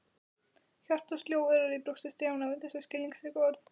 Hjartað sló örar í brjósti Stjána við þessi skilningsríku orð.